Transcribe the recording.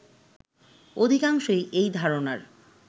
অধিকাংশই এই ধারণার